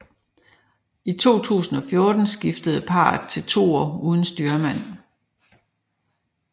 I 2014 skiftede parret til toer uden styrmand